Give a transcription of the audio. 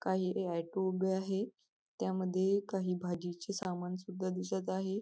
काही हे ऍटो उभे आहे त्यामध्ये काही भाजीचे सामान सुद्धा दिसत आहे.